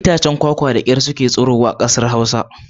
Itacen kwakwa da kyar ke tsirowa a Arewacin Najeriya